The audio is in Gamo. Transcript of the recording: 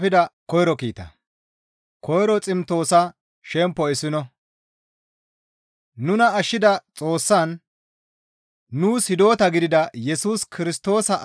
Nuna ashshida Xoossaan, nuus hidota gidida Yesus Kirstoosa azazon Hawaare gidida Phawuloosappe